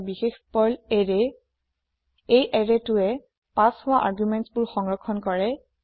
হৈছে এটা বিশেষ পাৰ্ল এৰে এই arrayটোৱে পাচ হোৱা আৰ্গুমেণ্টছ বোৰ সংৰক্ষণ কৰে